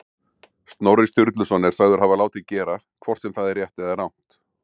Snorri Sturluson er sagður hafa látið gera, hvort sem það er rétt eða rangt.